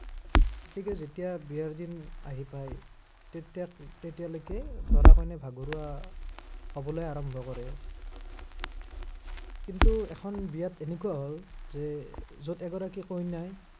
গতিকে যেতিয়া বিয়াৰ দিন আহি পায়, তেতিয়া, তেতিয়ালৈকে দৰা-কইনা ভাগৰুৱা, হবলৈ আৰম্ভ কৰে। কিন্তু এখন বিয়াত এনেকুৱা হল যে, যত এগৰাকী কইনাই